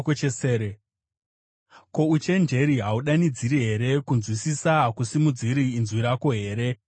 Ko, uchenjeri hahudanidziri here? Kunzwisisa hakusimudziri inzwi rako here?